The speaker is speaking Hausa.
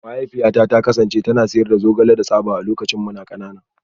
Mahaifiyata ta kasance tana sayar da zogale da tsaba a lokacin muna kanana